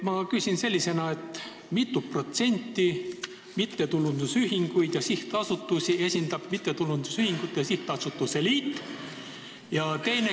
Ma küsin selliselt: mitut protsenti mittetulundusühingutest ja sihtasutustest esindab mittetulundusühingute ja sihtasutuste liit?